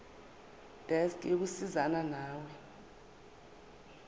desk yokusizana nawe